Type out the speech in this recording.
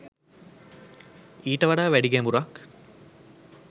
ඊට වඩා වැඩි ගැඹුරක්